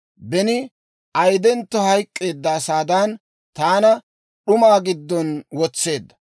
Beni ayidentto hayk'k'eedda asaadan, taana d'umaa giddon wotseedda.